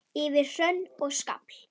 Yfir hrönn og skafl!